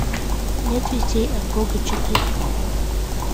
нет вестей от бога четырка